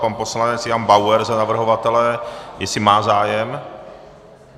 Pan poslanec Jan Bauer za navrhovatele, jestli má zájem?